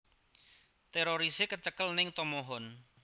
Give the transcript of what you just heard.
Terorise kecekel ning Tomohon